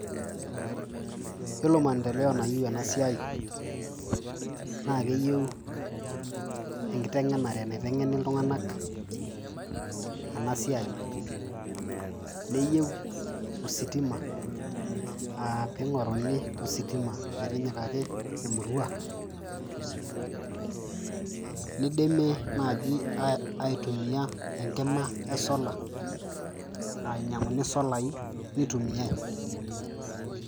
Iyiolo maendeleo nayeu ena siai naake eyeu enkiteng'enare naiteng'eni iltung'anak ena siai, neyeu ositima aa ping'oruni ositima metinyikaki emurua, nidimi naaji aitumia enkima e solar aa inyang'uni solai nitumiai.